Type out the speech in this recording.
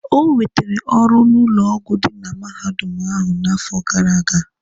O nwetere ọrụ n'ụlọ ọgwụ dị na mahadum ahụ n'afọ gara aga.